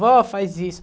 Vó, faz isso.